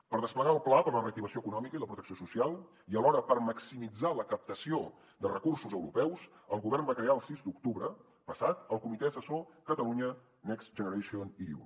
per desplegar el pla per a la reactivació econòmica i la protecció social i alhora per maximitzar la captació de recursos europeus el govern va crear el sis d’octubre passat el comitè assessor catalunya next generation eu